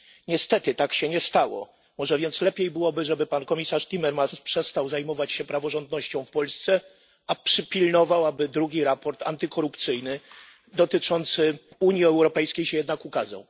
Niestety tak się nie stało. Może więc lepiej byłoby, żeby pan komisarz Timmermans przestał zajmować się praworządnością w Polsce, a przypilnował, by drugi raport antykorupcyjny dotyczący Unii Europejskiej się jednak ukazał.